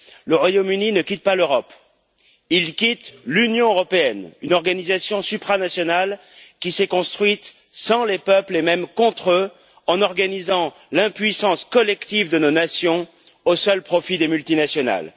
Le Royaume Uni ne quitte pas l'Europe, il quitte l'Union européenne, une organisation supranationale qui s'est construite sans les peuples, et même contre eux, en organisant l'impuissance collective de nos nations au seul profit des multinationales.